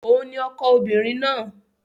Òun ni ọkọ obìnrin náà.